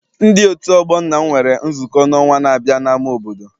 Ndi otu ọgbọ nna m nwere nzukọ n'ọnwa n'abia n'ama obodo.